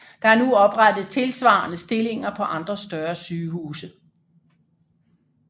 Der er nu oprettet tilsvarende stillinger på andre større sygehuse